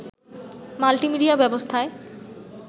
multimedia ব্যবস্থায়